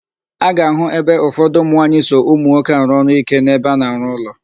A ga-àhụ́ ebe ụfọdụ ụmụnwaanyị so ụmụnwoke arụ ọrụ íké n'ebe a na-arụ ụlọ.